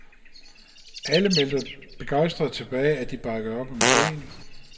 Alle meldte begejstrede tilbage, at de bakkede op om ideen.